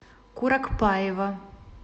куракпаева